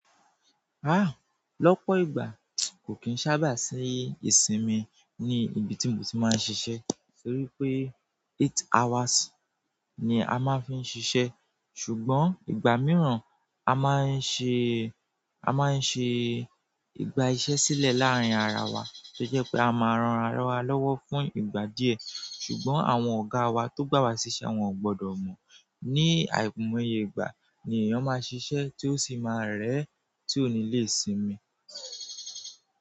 Ah! Lọ́pọ̀ ìgbà kò kín sábà sí ìsinmi ní ibi tí mo ti máa ń ṣiṣẹ́ torí pé eight hours ni a máa fi ń ṣiṣẹ́. Ṣùgbọ́n ìgbà mìíràn, a máa ń ṣe, a máa ń ṣe ìgbà iṣẹ́ sílẹ̀ láárín ara wa tó jẹ́ pé a máa ran ara wa lọ́wọ́ fún ìgbà díẹ̀. Ṣùgbọ́n àwọn ọ̀gá wa tó gbà wá síṣẹ́ wọn ò gbọdọ̀ mọ̀. Ni àì moye ìgbà ni èèyàn máa ń ṣiṣẹ́ tí ó sì máa rẹ́ tí ó nílé sinmi.